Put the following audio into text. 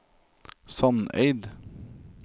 Sandeid